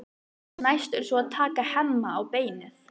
Næst er svo að taka Hemma á beinið.